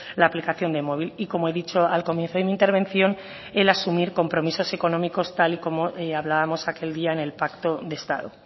la aplicación de móvil y como he dicho al comienzo de mi intervención el asumir compromisos económicos tal y como hablábamos aquel día en el pacto de estado